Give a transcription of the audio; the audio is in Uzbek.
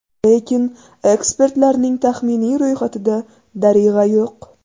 Lekin ekspertlarning taxminiy ro‘yxatida Darig‘a yo‘q.